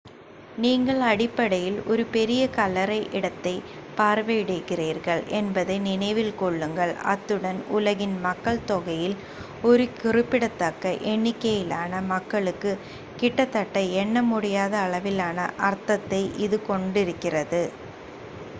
நீங்கள் அடிப்படையில் ஒரு பெரிய கல்லறை இடத்தைப் பார்வையிடுகிறீர்கள் என்பதை நினைவில் கொள்ளுங்கள் அத்துடன் உலகின் மக்கள் தொகையில் ஒரு குறிப்பிடத்தக்க எண்ணிக்கையிலான மக்களுக்கு கிட்டத்தட்ட எண்ண முடியாத அளவிலான அர்த்தத்தை இது கொண்டிருக்கிறது